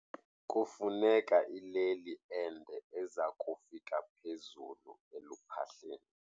Kufuneka ileli ende eza kufika phezulu eluphahleni.